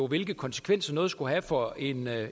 hvilke konsekvenser noget skulle have for en